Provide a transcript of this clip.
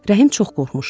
Rəhim çox qorxmuşdu.